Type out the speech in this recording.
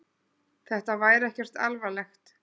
Þetta væri ekkert alvarlegt.